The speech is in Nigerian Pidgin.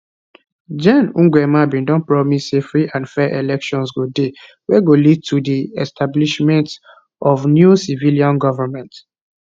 gen nguema bn don promise say free and fair elections go dey wey go lead to di establishment of new civilian goment